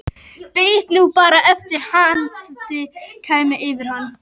Beið nú bara eftir að andinn kæmi yfir hann.